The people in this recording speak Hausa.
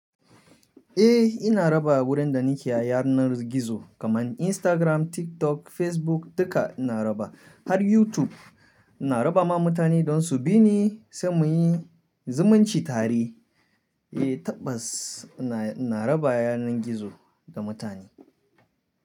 Eh ina raba wurin da nake a yanar gizo kaman Instagram, TikTok, Facebook duka ina raba har YouTube ina raba ma mutane don su bi ni sai muyi zumunci tare. Eh tabbas ina, ina raba yanar gizo ga mutane.